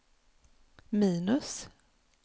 minus